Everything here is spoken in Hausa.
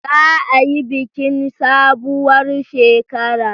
Za a yi bikin sabuwar shekara.